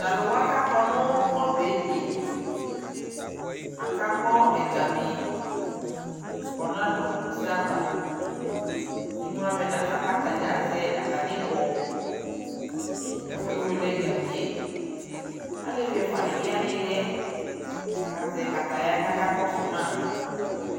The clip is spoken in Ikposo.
talʋ wa kʋ akɔ nʋ ɔbɛliɛ aka gbɔ ɛgami kʋ ɔnadʋ ʋsɛ aɣa, imʋavɛ nʋaƒa kʋ atagya azɛ atani ibɔ kʋ akɛ wɛlɛ ɛgamiɛ, alɛvi ɛƒʋa dibi yanʋiliɛ kʋ azɛ kataya kʋ aka kɔsʋ ma